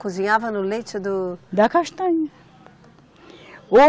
Cozinhava no leite do. Da castanha.